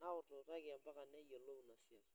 .Niutututaki mpaka neyiolou ina siai